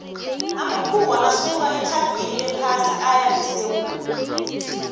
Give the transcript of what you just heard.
amakhuwa asuka etlhagwini lephasi aya ngesewula